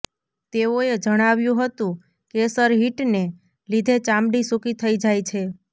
તેઓએ જણાવ્યું હતુ કેસનહીટને લીધે ચામડી સુકી થઈ જાય છે